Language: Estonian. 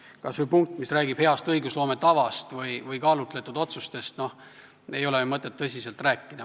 Kas või heast õigusloome tavast või kaalutletud otsustest ei ole ju mõtet tõsiselt rääkida.